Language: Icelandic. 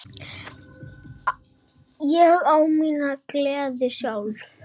Ég á mína gleði sjálf.